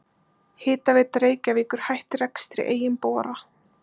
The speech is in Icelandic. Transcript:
Hitaveita Reykjavíkur hætti rekstri eigin bora.